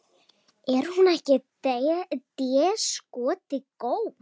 Er hún ekki déskoti góð?